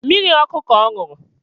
Mmiri ọkụ ka ọ ṅụrụ